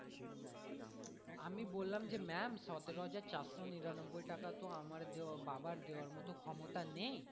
আমি বললাম যে ma'am সতেরো হাজার চারশো নিরানব্বই টাকা তো আমার দেওয়া বাবার দেওয়ার মতো ক্ষমতা নেই